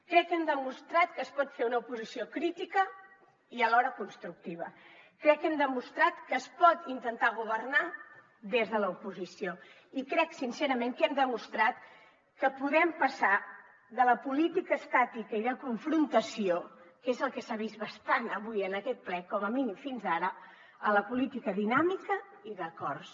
crec que hem demostrat que es pot fer una oposició crítica i alhora constructiva crec que hem demostrat que es pot intentar governar des de l’oposició i crec sincerament que hem demostrat que podem passar de la política estàtica i de confrontació que és el que s’ha vist bastant avui en aquest ple com a mínim fins ara a la política dinàmica i d’acords